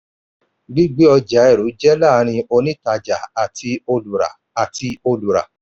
gbígbé ọjà eru jẹ́ láàrín onítàjà àti olùrà. àti olùrà.